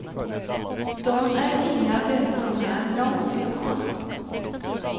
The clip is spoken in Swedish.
De är inga dunungar, långt ifrån.